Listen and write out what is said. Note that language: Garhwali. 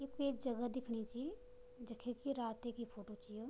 य कुइ जगह दिखणी च जख की रातिकी फोटो च यु।